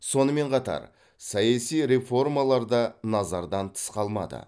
сонымен қатар саяси реформалар да назардан тыс қалмады